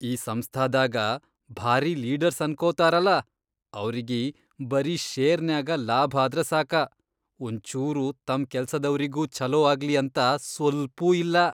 ಈ ಸಂಸ್ಥಾದಾಗ ಭಾರೀ ಲೀಡರ್ಸ್ ಅನ್ಕೋತಾರಲಾ ಅವ್ರಿಗಿ ಬರೀ ಷೇರ್ನ್ಯಾಗ ಲಾಭ್ ಆದ್ರ ಸಾಕ, ಒಂಚೂರು ತಮ್ ಕೆಲ್ಸದವ್ರಿಗೂ ಛಲೋ ಆಗ್ಲಿ ಅಂತ ಸ್ಪಲ್ಪೂ ಇಲ್ಲಾ.